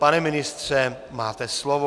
Pane ministře, máte slovo.